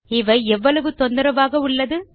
இவை எவ்வளவு தொந்தரவாக உள்ளது